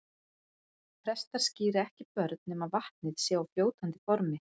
Prestar skíra ekki börn nema vatnið sé á fljótandi formi.